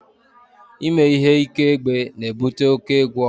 Ime ihe ike egbe na-ebute oke egwu ọha